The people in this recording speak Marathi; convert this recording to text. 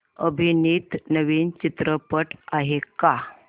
अभिनीत नवीन चित्रपट आहे का